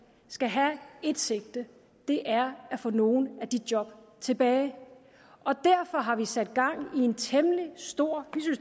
skal have ét sigte og det er at få nogle af de job tilbage derfor har vi sat gang i en temmelig stor